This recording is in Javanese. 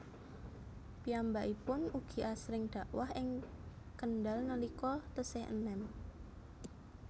Piyambakipun ugi asring dakwah ing Kendal nalika tesih enem